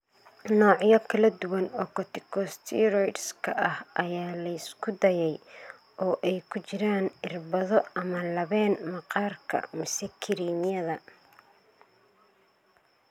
Noocyo kala duwan oo corticosteroidska ah ayaa la isku dayay, oo ay ku jiraan irbado ama labeen maqaarka mise kiriimyada.